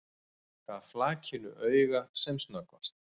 Gaf flakinu auga sem snöggvast.